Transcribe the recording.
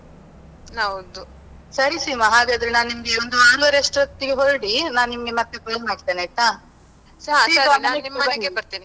ಹೌದು, ಸರಿ ಸೀಮಾ ನಾನ್ ಒಂದ್ ಆರೂವರೆ ಅಸ್ಟೊತ್ತಿಗೆ ಹೊರಡಿ, ನಾನಿಂಗೆ ಮತ್ತೆ ಫೋನ್ ಮಾಡ್ತೇನೆ ಆಯ್ತಾ? .